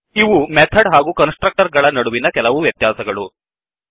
ಇವು ಮೆಥಡ್ ಹಾಗೂ constructor ಗಳ ನಡುವಿನ ಕೆಲವು ವ್ಯತ್ಯಾಸಗಳು